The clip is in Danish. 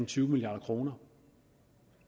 tyve milliard kroner